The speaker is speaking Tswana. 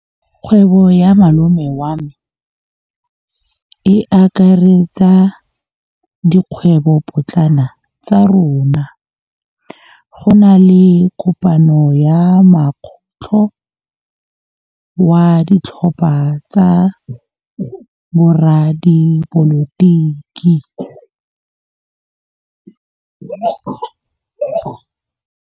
Kgwêbô ya malome wa me e akaretsa dikgwêbôpotlana tsa rona. Go na le kopanô ya mokgatlhô wa ditlhopha tsa boradipolotiki.